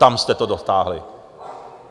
Tam jste to dotáhli.